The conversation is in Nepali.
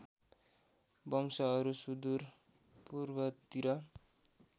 वंशहरू सुदूर पूर्वतिर